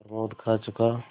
प्रमोद खा चुका